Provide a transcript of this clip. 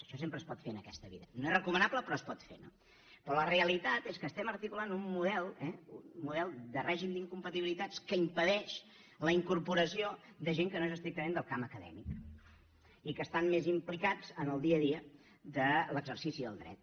això sempre es pot fer en aquesta vida no és recomanable però es pot fer no però la realitat és que estem articulant un model un model de règim d’incompatibilitats que impedeix la incorporació de gent que no és estrictament del camp acadèmic i que estan més implicats en el dia a dia de l’exercici del dret